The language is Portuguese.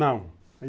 Não.